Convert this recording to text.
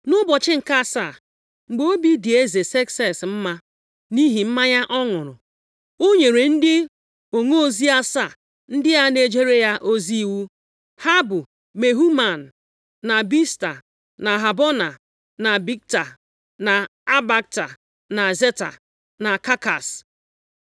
Nʼụbọchị nke asaa, mgbe obi dị eze Sekses mma nʼihi mmanya ọ ṅụrụ, ọ nyere ndị onozi asaa ndị a na-ejere ya ozi iwu, ha bụ, Mehuman, na Bizta, na Habona, na Bigta, na Abagta, na Zeta, na Kakas,